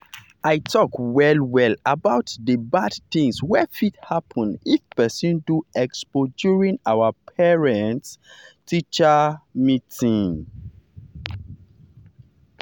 i talk well well about the the bad things wey fit happen if person do expo during our parent-teacher meeting.